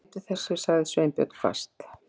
Gleymdu þessu- sagði Sveinbjörn hvasst.